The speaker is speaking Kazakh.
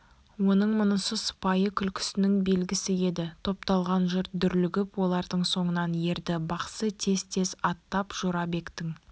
оның мұнысы сыпайы күлкісінің белгісі еді топталған жұрт дүрлігіп олардың соңынан ерді бақсы тез-тез аттап жорабектің